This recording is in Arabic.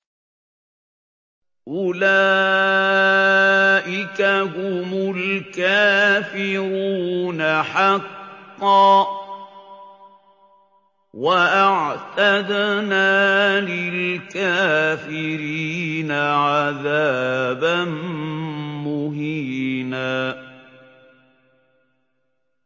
أُولَٰئِكَ هُمُ الْكَافِرُونَ حَقًّا ۚ وَأَعْتَدْنَا لِلْكَافِرِينَ عَذَابًا مُّهِينًا